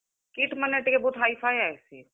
kit ମାନେ ଟିକେ ବହୁତ୍ Hi-Fi ଆଏସି।